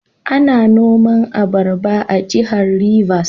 Ana noma abaraba a Jihar Rivers.